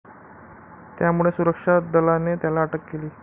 त्यामुळे सुरक्षा दलाने त्याला अटक केली.